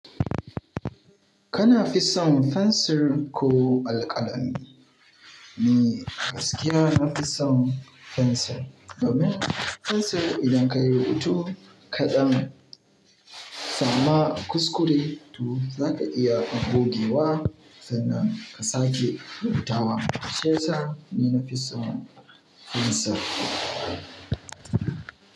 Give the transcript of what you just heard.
Kana fi son fensir ko alƙalami? Ni gaskiya nafi son fensir, domin fensir idan ka yi rubutu kaɗan, sama kuskure tu za ka iya bugewa sannan ka sake rubutawa. Shiyasa ni nafi son fensir.